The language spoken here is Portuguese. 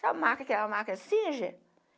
Sabe marca aquela marca